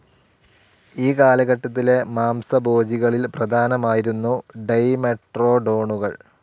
ഈ കാലഘട്ടത്തിലെ മാംസഭോജികളിൽ പ്രധാനമായിരുന്നു ഡൈമെട്രോഡോണുകൾ.